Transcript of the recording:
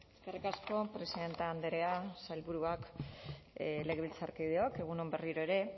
eskerrik asko presidente andrea sailburuak legebiltzarkideok egun on berriro ere